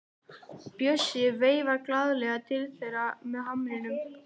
Bjössi veifar glaðlega til þeirra með hamrinum.